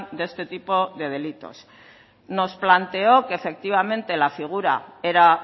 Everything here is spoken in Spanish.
de este tipo de delitos nos planteó que efectivamente la figura era